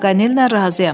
Paqanellə razıyam.